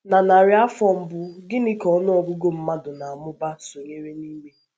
Na narị afọ mbụ, gịnị ka ọnụ ọgụgụ mmadụ na - amụba amụba sonyere n’ime?